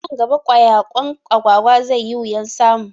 Nan gaba ƙwayaƙwan Agwagwa zai yi wuyan samu